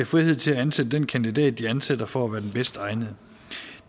frihed til at ansætte den kandidat de anser for at være den bedst egnede